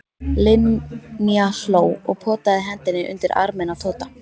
Linja hló og potaði hendinni undir arminn á Tóta.